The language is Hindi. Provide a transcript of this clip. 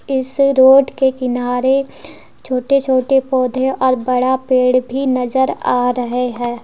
इस रोड के किनारे छोटे छोटे पौधे और बड़ा पेड़ भी नजर आ रहे हैं।